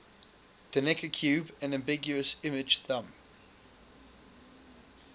the necker cube an ambiguous image thumb